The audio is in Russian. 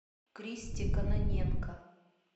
кристе кононенко